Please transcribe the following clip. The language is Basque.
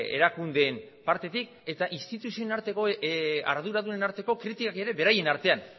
erakundeen partetik eta instituzioen arteko arduradunen arteko kritikak ere beraien artean